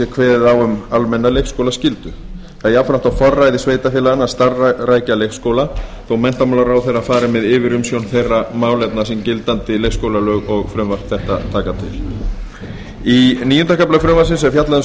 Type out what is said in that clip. á um almenna leikskólaskyldu það er jafnframt á forræði sveitarfélaga að starfrækja leikskóla þótt menntamalaráðherra fari með yfirumsjón þeirra málefna sem gildandi leikskólalög og frumvarp þetta taka til í níunda kafla frumvarpsins er fjallað um